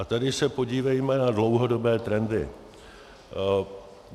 A tady se podívejme na dlouhodobé trendy.